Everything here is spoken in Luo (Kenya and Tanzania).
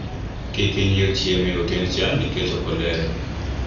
kik inyiew chiemo e otend cha nikech ok oler